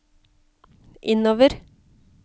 innover